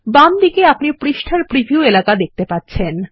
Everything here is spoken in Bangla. বাম দিকে আপনি পৃষ্ঠার প্রিভিউ এলাকা দেখতে পাচ্ছেন